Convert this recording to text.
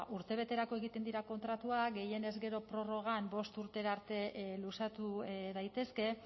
urtebeterako egiten dira kontratuak gehienez gero prorrogan bost urtera arte luzatu daitezke